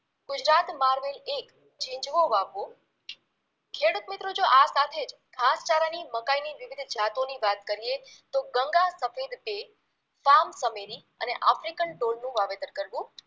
Gujarat marvel એક ઝિંઝવો વાવવો ખેડુતમિત્રો જો આ સાથે જ ઘાસચારાની મકાઈની વિવિધ જાતોની વાત કરીએ તો ગંગા સફેદ બે પાનચમેરી અને આફ્રિકન ડોડનું વાવેતર કરવુ